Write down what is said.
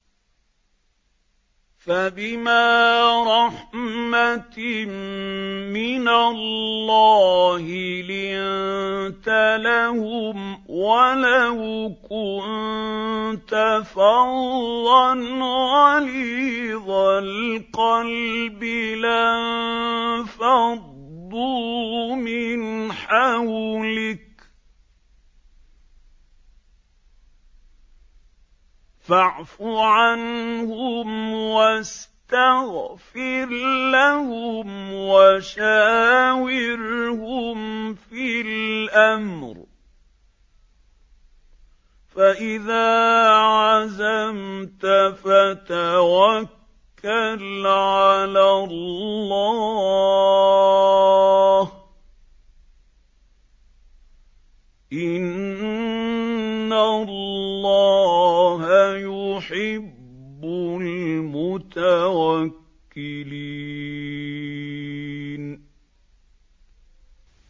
فَبِمَا رَحْمَةٍ مِّنَ اللَّهِ لِنتَ لَهُمْ ۖ وَلَوْ كُنتَ فَظًّا غَلِيظَ الْقَلْبِ لَانفَضُّوا مِنْ حَوْلِكَ ۖ فَاعْفُ عَنْهُمْ وَاسْتَغْفِرْ لَهُمْ وَشَاوِرْهُمْ فِي الْأَمْرِ ۖ فَإِذَا عَزَمْتَ فَتَوَكَّلْ عَلَى اللَّهِ ۚ إِنَّ اللَّهَ يُحِبُّ الْمُتَوَكِّلِينَ